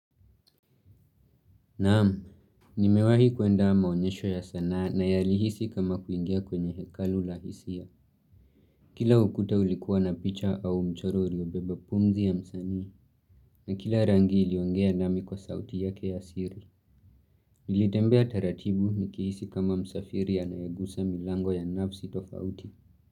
Naam, nimewahi kuenda maonyesho ya sanaa na yalihisi kama kuingia kwenye hekalu la hisia Kila ukuta ulikuwa na picha au mchoro uliobeba pumzi ya msanii na kila rangi iliongea nami kwa sauti yake ya siri Nilitembea taratibu nikihisi kama msafiri anayegusa milango ya nafsi tofauti.